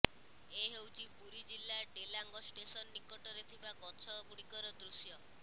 ଏ ହେଉଛି ପୁରୀ ଜିଲ୍ଳା ଡେଲାଙ୍ଗ ଷ୍ଟେସନ ନିକଟରେ ଥିବା ଗଛ ଗୁଡ଼ିକର ଦୃଶ୍ୟ